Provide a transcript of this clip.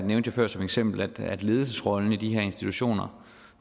jeg før som eksempel ledelsesrollen i de her institutioner